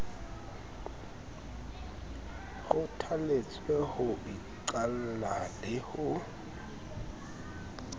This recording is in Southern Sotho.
kgothaletswe ho iqalla le ho